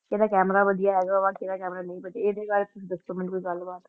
ਕਿਹਦਾ camera ਵਧੀਆ ਹੈਗਾ ਵਾ ਕਿਹਦਾ camera ਨਹੀਂ ਵਧੀਆ, ਇਹਦੇ ਬਾਰੇ ਤੁਸੀਂ ਦੱਸੋ ਮੈਨੂੰ ਕੋਈ ਗੱਲ ਬਾਤ।